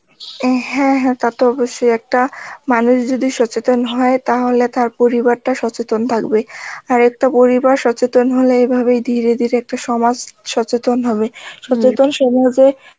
N হ্যাঁ হ্যাঁ টা তো অবশ্যই একটা মানুষ যদি সচেতন হয় তাহলে তার পরিবারটা সচেতন থাকবে, আর একটা পরিবার সচেতন হলে এ ভাবেই ধীরে ধীরে একটা সমাজ সচেতন হবে, সমাজে এ